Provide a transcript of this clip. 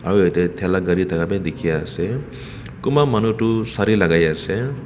aro yate thaela gari thaka bi dikhiase aro kunba manu toh sare lakaiase.